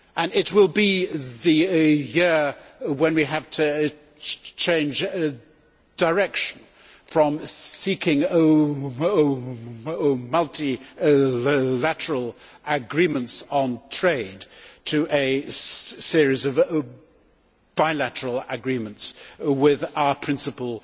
It will be the year when we have to change direction from seeking multilateral agreements on trade to a series of bilateral agreements with our principal